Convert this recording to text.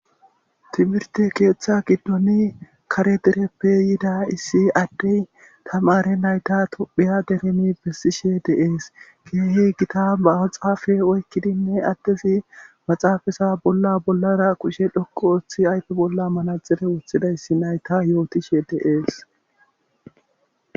Timirte keeththa giddoni kare dereppe yiida issi addey tamare nayta tophiya deremi bessishe deees keehi gita ba maxaafe oykkidinne addezi maxaafasa bolla bollara qushe dhokku ooththi aype bolla manaxife wothidayssi nayta yootishe deees.